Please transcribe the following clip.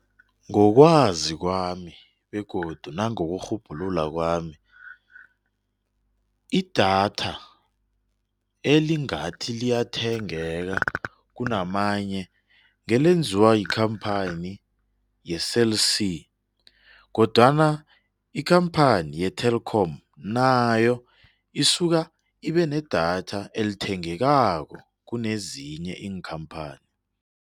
Ngokwazi kwami begodu nangokurhubhulula kwami, idatha elingathi liyathengeka kunamanye engelenziwa yikampani ye-Cell C kodwana ikampani ye-Telkom nayo asuka ibenedatha elithengekako kunye nezinye iinkampani.